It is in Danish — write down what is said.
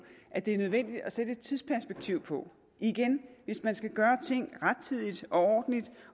at det er nødvendigt at sætte et tidsperspektiv på igen hvis man skal gøre ting rettidigt og ordentligt